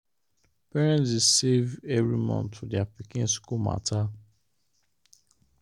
parents dey save every month for their pikin school matter.